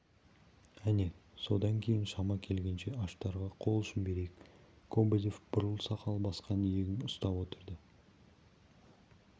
әне содан кейін шама келгенше аштарға қол ұшын берейік кобозев бурыл сақал басқан иегін уыстап отырды